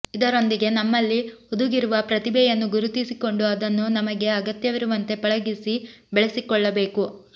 ಇದರೊಂದಿಗೆ ನಮ್ಮಲ್ಲಿ ಹುದುಗಿರುವ ಪ್ರತಿಭೆಯನ್ನು ಗುರುತಿಸಿಕೊಂಡು ಅದನ್ನು ನಮಗೆ ಅಗತ್ಯವಿರುವಂತೆ ಪಳಗಿಸಿ ಬೆಳೆಸಿಕೊಳ್ಳಬೇಕು